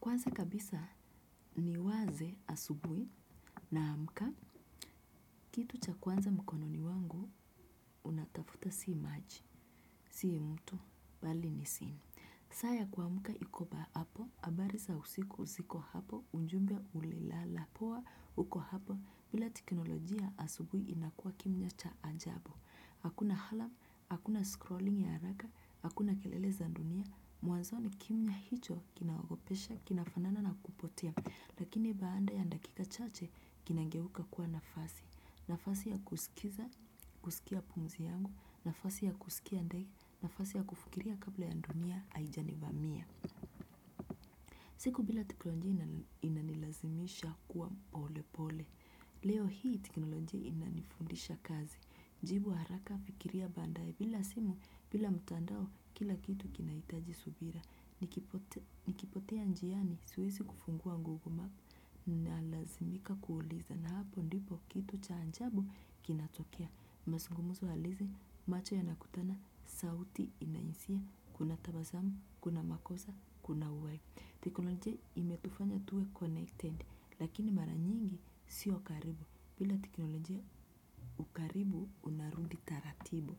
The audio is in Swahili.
Kwanza kabisa ni waze asubui naamka, kitu cha kwanza mkononi wangu unatafuta sii maji, sii mtu, bali ni simu. Saa ya kuamka ikoba hapo, abariza usiku siko hapo, unjumbe ulilala. Pua huko hapo, bila teknolojia asubui inakua kimya cha ajabo. Hakuna halam, hakuna scrolling ya araka, hakuna kelele zandunia, muanzoni kimya hicho kinaogopesha, kinafanana na kupotea. Lakini baanda ya ndakika chache, kinangeuka kuwa nafasi, nafasi ya kusikiza, kusikia pumzi yangu, nafasi ya kusikia ndai, nafasi ya kufukiria kabla ya ndunia aijani vamiya. Siku bila teklonjia inanilazimisha kuwa pole pole. Leo hii, teknolojia inanifundisha kazi, jibu haraka fikiria baadae. Bila simu, bila mtandao kila kitu kinaitaji subira. Ni kipotea njiani, siwesi kufungua Google map na lazimika kuuliza na hapo ndipo kitu cha anjabu kinatokea. Masungumuzo halizi macho yanakutana, sauti inainsia, kuna tabasamu, kuna makosa, kuna uhai. Teknolojia imetufanya tuwe connected, lakini mara nyingi sio karibu, bila teknolojia ukaribu unarundi taratibu.